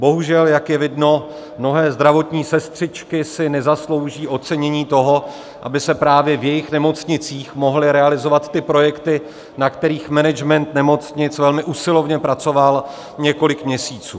Bohužel jak je vidno, mnohé zdravotní sestřičky si nezaslouží ocenění toho, aby se právě v jejich nemocnicích mohly realizovat ty projekty, na kterých management nemocnic velmi usilovně pracoval několik měsíců.